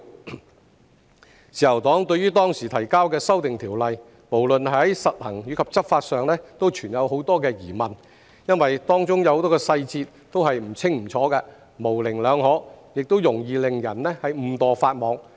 自由黨對於當時提交的《條例草案》，無論在實行或執法上均存有很多疑問，因為當中有很多細節都是不清不楚、模棱兩可，亦容易令人誤墮法網。